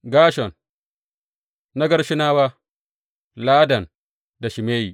Gershon Na Gershonawa, Ladan da Shimeyi.